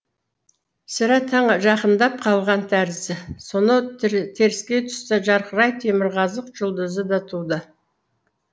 сірә таң жақындап қалған тәрізді сонау теріскей тұста жарқырай темірқазық жұлдызы да туды